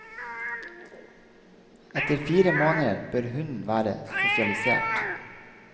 Etter fire måneder bør hunden være sosialisert.